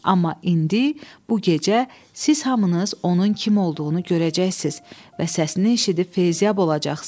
Amma indi bu gecə siz hamınız onun kim olduğunu görəcəksiniz və səsini eşidib feyziyab olacaqsınız.